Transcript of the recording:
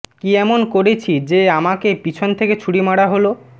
কী এমন করেছি যে আমাকে পিছন থেকে ছুরি মারা হল